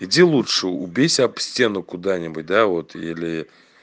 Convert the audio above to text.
иди лучше убейся об стену куда-нибудь да вот или